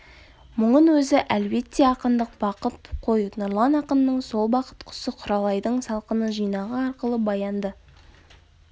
мұнын өзі әлбетте ақындық бақыт қой нұрлан ақынның сол бақыт құсы құралайдың салқыны жинағы арқылы баянды